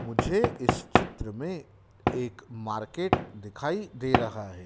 मुझे इस चित्र में एक मार्केट दिखाई दे रहा है।